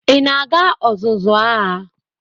Ị na-aga ọzụzụ agha?